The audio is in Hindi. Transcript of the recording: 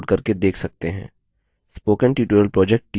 spoken tutorial project team